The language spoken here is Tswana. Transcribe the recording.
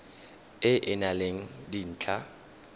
e e nang le dintlha